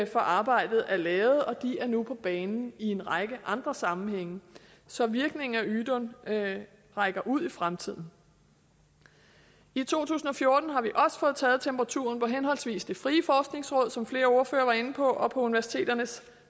for arbejdet er lavet og de er nu på banen i en række andre sammenhænge så virkningen af ydun rækker ud i fremtiden i to tusind og fjorten har vi også fået taget temperaturen på henholdsvis det frie forskningsråd som flere ordførere var inde på og på universiteternes